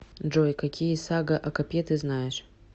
джой какие сага о копье ты знаешь